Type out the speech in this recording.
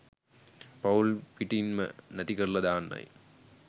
පවුල් පිටන්ම නැති කරලා දාන්නයි